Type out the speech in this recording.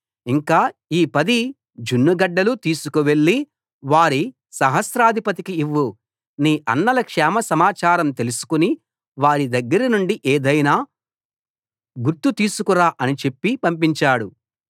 ఇంకా ఈ పది జున్నుగడ్డలు తీసికువెళ్ళి వారి సహస్రాధిపతికి ఇవ్వు నీ అన్నల క్షేమసమాచారం తెలుసుకుని వారి దగ్గరనుండి ఏదైనా గుర్తు తీసుకురా అని చెప్పి పంపించాడు